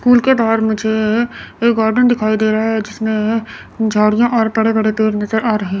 school के बाहर मुझे एक गार्डन दिखाई दे रहा है जिसमें झाड़ियां और बड़े बड़े पेड़ नजर आ रहे--